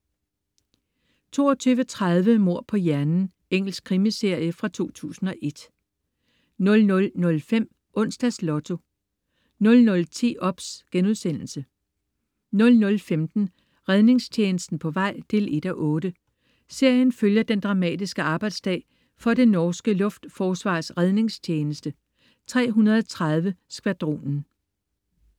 22.30 Mord på hjernen. Engelsk krimiserie fra 2001 00.05 Onsdags Lotto 00.10 OBS* 00.15 Redningstjenesten på vej 1:8. Serien følger den dramatiske arbejdsdag for det norske luftforsvars redningstjeneste: 330 Skvadronen